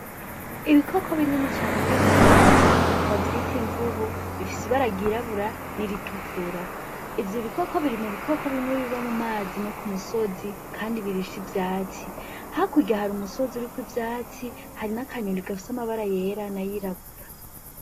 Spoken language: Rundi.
Ibikoko binini cane biri mu mazi bavyite imvubu bifise ibaragirabura n'iritukura ivyo ibikoko biri mu bikoko bimwe biba mu mazi no ku musozi, kandi birisha ivyatsi hakurya hari umusozi uriuko ivyatsi hari n'akanyoni gafusi'amabara yera na yirabura.